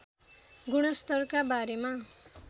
गुणस्तरका बारेमा